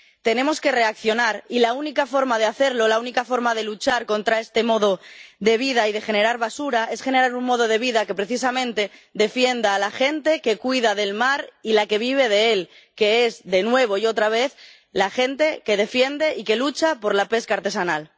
Tenemos que reaccionar, y la única forma de hacerlo, la única forma de luchar contra este modo de vida y de generar basura es generar un modo de vida que precisamente defienda a la gente que cuida del mar y a la que vive de él, que es, de nuevo y otra vez, la gente que defiende y que lucha por la pesca artesanal.